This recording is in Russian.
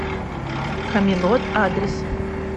камелот адрес